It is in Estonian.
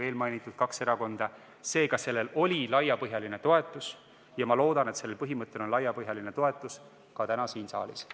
Seega, sellel ettepanekul oli laiapõhjaline toetus ja ma loodan, et sellel ettepanekul on laiapõhjaline toetus ka täna siin saalis.